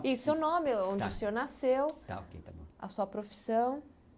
E o seu nome, onde o senhor nasceu, a sua profissão.